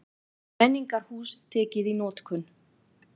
Menningarhús tekið í notkun